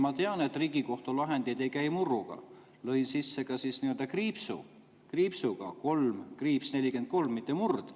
Ma tean, et Riigikohtu lahendid ei käi murruga, lõin sisse kriipsuga, 3‑43, mitte murd.